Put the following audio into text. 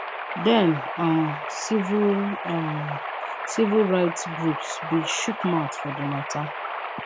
den um civil um civil rights groups bin chook mouth for di matter